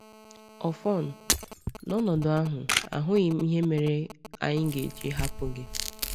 “Ọfọn, n’ọnọdụ ahụ, ahụghị m ihe mere anyị ga-eji hapụ gị.”